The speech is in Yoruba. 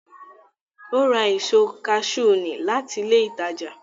Ó ra èso kaṣú ní láti ilé ìtajà